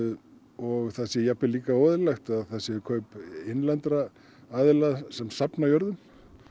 og það sé jafnvel líka óeðlilegt að það séu kaup innlendra aðila sem safna jörðum